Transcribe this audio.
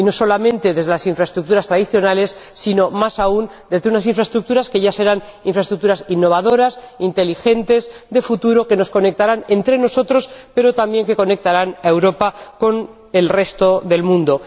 Y no solamente desde las infraestructuras tradicionales sino, más aún, desde unas infraestructuras que ya serán infraestructuras innovadoras, inteligentes, de futuro, que nos conectarán entre nosotros, pero también que conectarán a Europa con el resto del mundo.